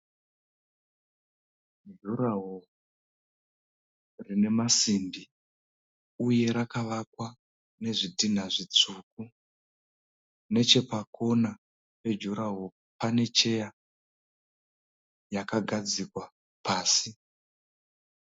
Juraho rine masimbi uye rakavakwa nezvitinha zvitsvuku. Nechepakona pe juraho pane cheya yakagadzikwa pasi.